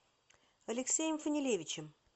алексеем фанилевичем